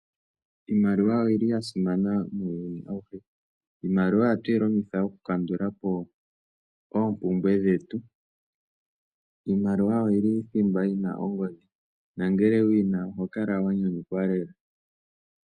Iimaliwa oyili ya simana muuyuni awuhe. Iimaliwa ohatu yi longitha okukandulapo oompumbwe dhetu. Iimaliwa oyi li thimba yi na ongodhi na ngele wu yi na oho kala wa nyanyukwa lela.